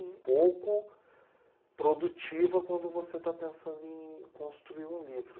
Pouco produtiva quando você está pensando em construir um livro.